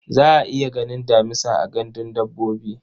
Za a iya ganin damisa a gandun dabbobi.